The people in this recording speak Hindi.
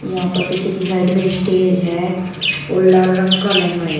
यहां पर पीछे की साइड में स्टेज है और लाल रंग का लहंगा है।